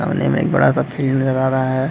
सामने में एक बड़ा सा फील्ड नज़र आ रहा है।